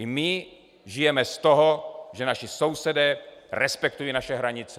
I my žijeme z toho, že naši sousedé respektují naše hranice.